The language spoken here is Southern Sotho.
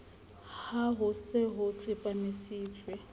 ha ho se ho tsepamisitswe